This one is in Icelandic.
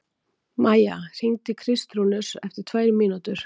Maía, hringdu í Kristrúnus eftir tvær mínútur.